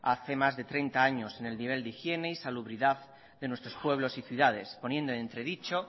hace más de treinta años en el nivel de higiene y salubridad de nuestros pueblos y ciudades poniendo entredicho